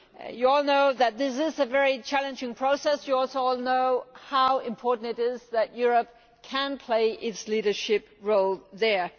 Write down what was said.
You all know that this is a very challenging process. You also all know how important it is that Europe can play its leadership role there.